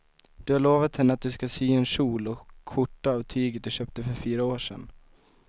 Du har lovat henne att du ska sy en kjol och skjorta av tyget du köpte för fyra år sedan.